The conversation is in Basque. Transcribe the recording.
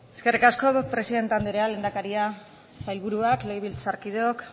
eskerrik asko presidente anderea lehendakaria sailburuak legebiltzarkideok